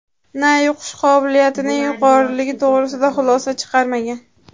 na yuqish qobiliyatining yuqoriligi to‘g‘risida xulosa chiqarmagan.